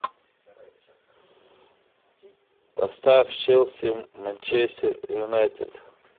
поставь челси манчестер юнайтед